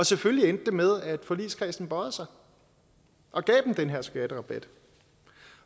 selvfølgelig med at forligskredsen bøjede sig og gav dem den her skatterabat